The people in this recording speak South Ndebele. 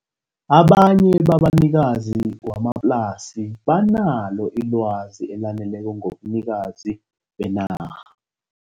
Abanye babanikazi wamaplasi banalo ilwazi elaneleko ngobunikazi benarha.